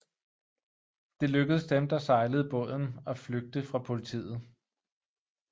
Det lykkedes dem der sejlede båden af flygte fra politiet